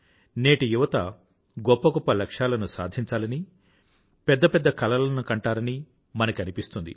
నేటి యువత గొప్ప లక్ష్యాలను సాధించాలని పెద్ద పెద్ద కలలను కంటారని మనకి అనిపిస్తుంది